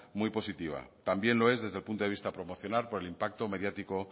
muy positiva también lo es desde el punto de vista promocional por el impacto mediático